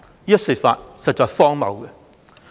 這說法實在荒謬。